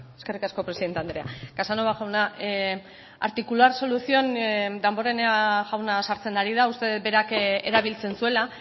eskerrik asko presidente andrea casanova jauna articular solución damborenea jauna sartzen ari da uste dut berak erabiltzen zuela